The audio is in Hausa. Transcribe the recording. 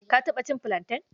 Ka taɓa cin filanten?